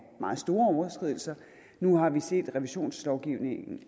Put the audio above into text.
meget store overskridelser og nu har vi set sanktionslovgivningen